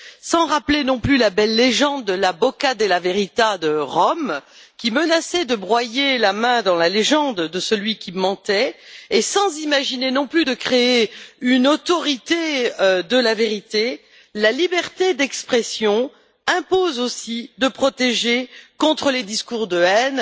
Sans rappeler non plus la belle légende de la Bocca della Verità de Rome, qui menaçait de broyer la main de celui qui mentait et sans imaginer non plus de créer une autorité de la vérité, la liberté d'expression impose aussi de protéger contre les discours de haine,